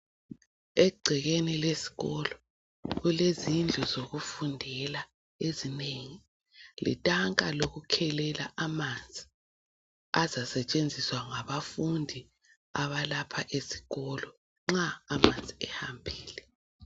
Egcekeni lesikolo kulezindlu zokufundela ezinengi letanka lokukhelela amanzi azasetshenziswa ngabafundi abalapha esikolo nxa amanzi sehambile.